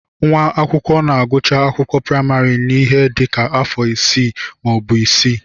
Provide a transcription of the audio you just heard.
Nwa akwụkwọ na-agụcha akwụkwọ praịmarị n'ihe dị ka afọ ise maọbụ isii